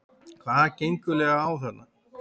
HVAÐ GENGUR EIGINLEGA Á ÞARNA?